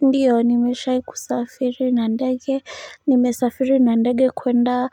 Ndiyo nimeshai kusafiri na ndege nimesafiri na ndege kwenda